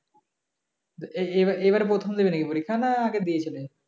এ~ এবার এবার প্রথম দেবে নাকি পরীক্ষা না আগে দিয়েছিল?